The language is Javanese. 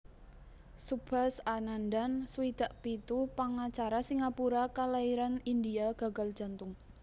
Subhas Anandan swidak pitu pangacara Singapura kalairan India gagal jantung